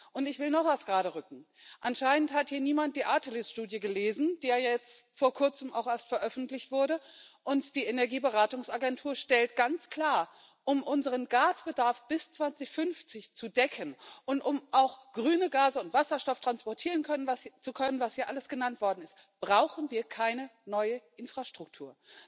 Und ich will noch etwas geraderücken Anscheinend hat hier niemand die Artelys Studie gelesen, die ja jetzt vor Kurzem auch erst veröffentlicht wurde, und die Energieberatungsagentur stellt ganz klar Um unseren Gasbedarf bis 2050 zu decken und um auch grüne Gase und Wasserstoff transportieren zu können, was hier alles genannt worden ist, brauchen wir keine neue Infrastruktur.